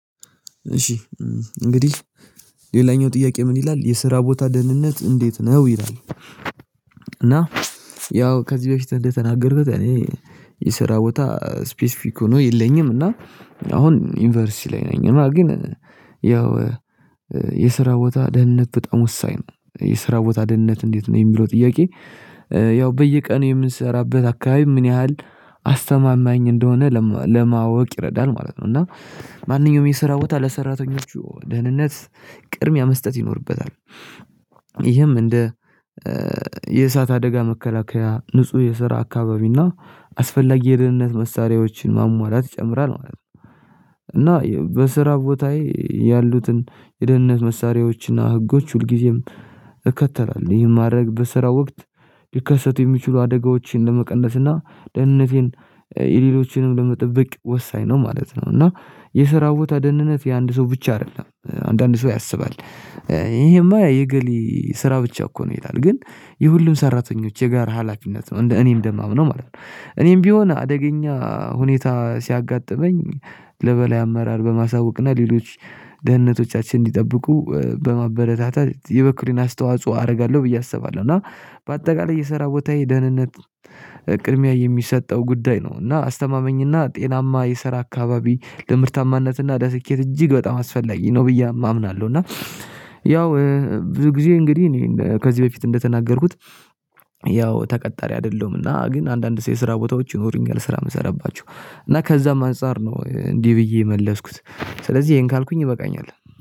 እሺ እንግዲህ ሌላኛው ጥያቄ ምን ይላል የስራ ቦታ ደህንነት እንዴት ነው ይላል? ያው ከዚህ በፊት እንደተናገርኩት እኔ የሰራ ቦታ ስፔሲፊክ ሆኖ የለኝም እና አሁን ዩኒቨርሲቲ ላይ ነኝ እና ግን ያው የስራ ቦታ ደህንነት በጣም ወሳኝ ነው የስራ ቦታ ደህንነት እንዴት ነው የሚለው ጥያቄ? ያው በየቀኑ የምንሰራበት አካባቢ ምን ያህል አስተማማኝ እንደሆነ ለማወቅ ይረዳል ማለት ነው። እና ማንኛውም የስራ ቦታ ለሰራተኞቹ ደህንነት ቅድሚያ መስጠት ይኖርበታል። ይህም እንደ የእሳት አደጋ መከላከያ ንጹህ የስራ አካባቢና አስፈላጊ የደህንነት መሳሪያዎችን ማሟላት ይጨምራል ማለት ነው። እና በስራ ቦታዬ ያሉትን የደህንነት መሳሪያዎችና ህጎች ሁልጊዜም እከተላለሁ ይህን ማድረግ በስራ ወቅት ሊከሰቱ የሚችሉ አደጋዎችን ለመቀነስ እና ደህንነቴን የሌሎችንም ለመጠበቅ ወሳኝ ነው ማለት ነው። እና የስራ ቦታ ደህንነት የአንድ ሰው ብቻ አይደለም አንዳንድ ሰው ያስባል ይሄማ የእገሌ ስራ ብቻ እኮ ነው ይላል ግን የሁሉም ሰራተኞች የጋራ ሀላፊነት ነው እንደ እኔ እደማምነው ማለት ነው። እኔም ቢሆን አደገኛ ሁኔታ ሲያጋጥመኝ ለበላይ አመራር በማሳወቅና ሌሎች ደህንነቶቻችን እንዲጠብቁ በማበረታታት የበኩሌን አስተዋጽኦ አደርጋለሁ ብዬ አስባለሁ። እና በአጠቃላይ የሰራ ቦታዬ ደህንነት ቅድሚያ የሚሰጠው ጉዳይ ነው እና አስተማመኝ እና ጤናማ የሰራ አካባቢ ለምርታማነት እና ለስኬት እጅግ በጣም አስፈላጊ ነው ብዬ አምናለሁ። እና ያው ብዙ ጊዜ እንግዲህ እኔ ከዚህ በፊት እንደተናገርኩት ያው ተቀጣሪ አይደሁምና ግን አንዳንድ የስራ ቦታዎች ይኖሩኛል ስራ የምሰራባቸው እና ከዛም አንፃር ነው። እንዲህ ብዬ የመለስኩት ስለዚህ ይሄን ካልኩኝ ይበቃኛል